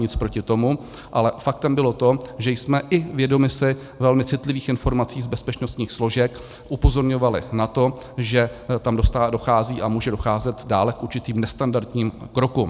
Nic proti tomu, ale faktem bylo to, že jsme, i vědomi si velmi citlivých informací z bezpečnostních složek, upozorňovali na to, že tam dochází a může docházet dále k určitým nestandardním krokům.